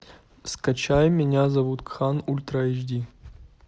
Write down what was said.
скачай меня зовут кхан ультра эйч ди